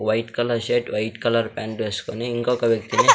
white colour shirt white colour pant ఎస్కొని ఇంకొక వ్యక్తి--